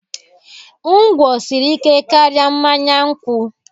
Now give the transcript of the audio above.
Ngwo siri ike karịa mmanya nkwụ